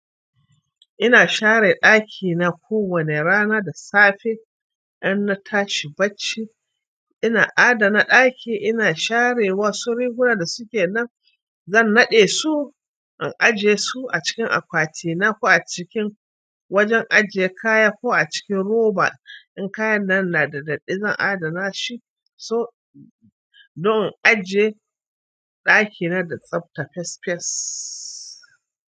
Ina share ɗakina kowane rana da safe. Inna tashi bacci, ina adana ɗaki. Ina share wasu riguna da suke nan, zan naɗe su in ajiye su a cikin akwatina ko a cikin wajen ajiye kaya ko a cikin roba. In kayan nan na da datti, zan adana shi don in ajiye ɗakina da tsabta fes fes.